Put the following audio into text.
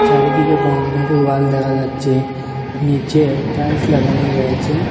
চারিদিকে boundary wall দেখা যাচ্ছে নিচে টাইলস লাগানো রয়েছে।